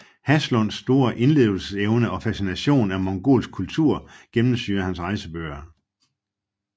Haslunds store indlevelsesevne og fascinationen af mongolsk kultur gennemsyrer hans rejsebøger